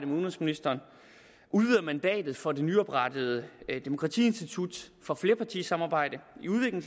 udenrigsministeren udvider mandatet for det nyoprettede institut for flerpartisamarbejde